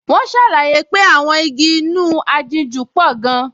Wọ́n ṣàlàyé pé àwọn igi inú aginjù pò gan-an